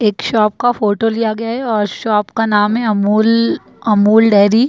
एक शॉप का फोटो लिया गया है और शॉप का नाम है अमूल अमूल डेयरी ।